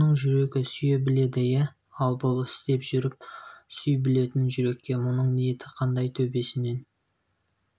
оның жүрегі сүйе біледі иә ал бұл істеп жүр сүй білетін жүрекке бұның ниеті қандай төбесінен